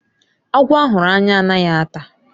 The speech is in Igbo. Agwọ a hụrụ anya anaghị ata.